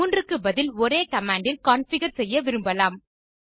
3 க்கு பதில் ஒரே கமாண்ட் இல் கான்ஃபிகர் செய்ய விரும்பலாம்